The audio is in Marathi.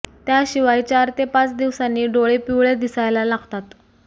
त्या शिवाय चार ते पाच दिवसांनी डोळे पिवळे दिसायला लागतात